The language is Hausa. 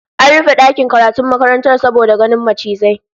An rufe dakin karatun makarantar saboda ganin macizai